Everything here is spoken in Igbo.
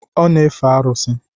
Ọ na-efe arụsị